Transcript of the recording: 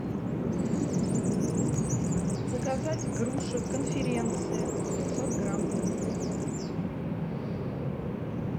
заказать груши конференция пятьсот грамм